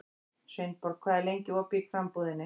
Sveinborg, hvað er lengi opið í Krambúðinni?